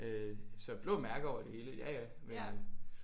Øh så blå mærker over det hele ja ja men øh